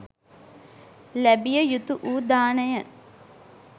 ලැබිය යුතුවූ දානය